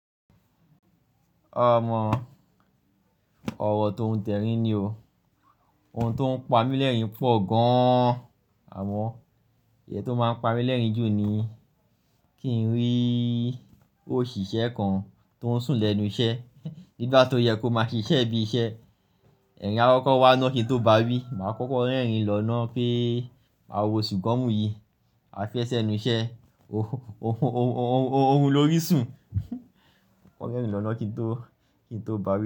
Ọmọ, ọ̀rọ̀ tóuń tẹ́rí ni o. Ohun tó ń pa mí lẹ́rìn pọ̀ gaann. Àmọ́ iye tó máa ń pa mí lẹ́rìn jù ni kí n rí òṣìṣẹ́ kan tó ń sùn lẹ́nu iṣẹ́ nígbà tó yẹ kó máa ṣiṣẹ́ bí i iṣẹ́. Ẹ̀rin akokọ̀ wá náà kí n tó bá wí, màá kọ́kọ́ rẹ́rìn lọ náà peé "mawọ̀ sugomu yí, a fẹ́ e ṣẹ́nu iṣẹ́, orun lo rí sùn." Kọ́kọ́ rẹ́rìn lọ náà kí n tó, kí n tó báwi.